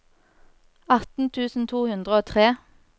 atten tusen to hundre og tre